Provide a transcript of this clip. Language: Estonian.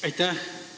Aitäh!